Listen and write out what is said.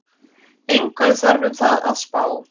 Engu þarf um það að spá,